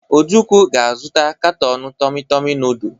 Ojukwu ga-azụta katọn tomị-tomị nọọdụ.